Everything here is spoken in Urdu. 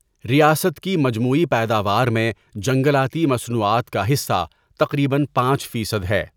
ریاست کی مجموعی پیداوار میں جنگلاتی مصنوعات کا حصہ تقریباً پانچ فیصد ہے۔